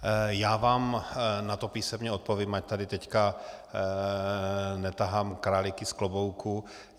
Já vám na to písemně odpovím, ať tady teď netahám králíky z klobouku.